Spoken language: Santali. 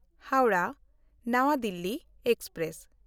ᱦᱟᱣᱲᱟᱦ–ᱱᱟᱣᱟ ᱫᱤᱞᱞᱤ ᱮᱠᱥᱯᱨᱮᱥ